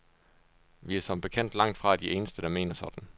Vi er som bekendt langtfra de eneste, der mener sådan.